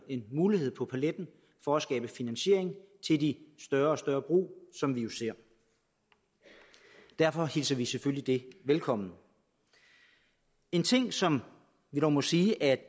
mulighed på paletten for at skabe finansiering til de større og større brug som vi jo ser derfor hilser vi det selvfølgelig velkommen en ting som vi dog må sige at